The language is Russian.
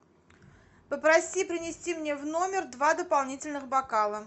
попроси принести мне в номер два дополнительных бокала